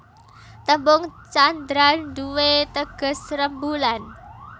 Tembung candra nduwé teges rembulan